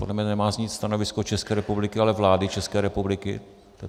Podle mne nemá znít stanovisko České republiky, ale vlády České republiky.